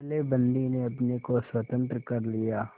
पहले बंदी ने अपने को स्वतंत्र कर लिया